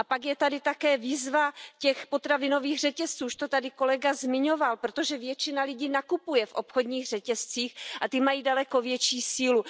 Pak je tady také výzva těch potravinových řetězců, už to tady kolega zmiňoval, protože většina lidí nakupuje v obchodních řetězcích a ty mají daleko větší sílu.